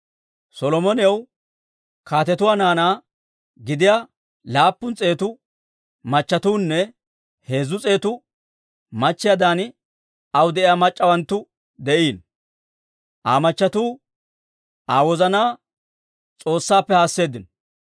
Solomonaw kaatetuwaa naanaa gidiyaa laappun s'eetu machchetuunne heezzu s'eetu machchiyaadan aw de'iyaa mac'c'awanttu de'iino. Aa machchattiuu Aa wozanaa S'oossaappe haaseeddino.